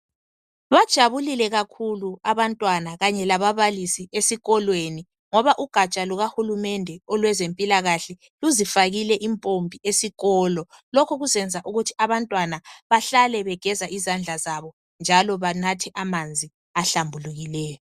Bajabulile kakhulu abantwana bonke lababalisi esikolweni ngoba ugatsha luka Hulumende lwezempilakahle luzifakile impompi esikolo. Lokhu kuzeyenza ukuthi abantwana bahlale begeza izandla zabo njalo banathe amanzi ahlambulukileyo.